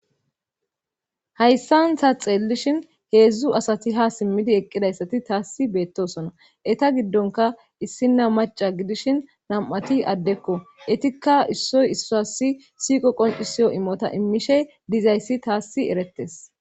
Hayssantha xeellishin heedzdzu asati ha simmidi eqqidayssati taassi beettosona eta giddonka issinna maca gidishin nam'ati addekko etikka issoy issassi siiqo qoncisiyo imota immishe dizayssi taassi erettes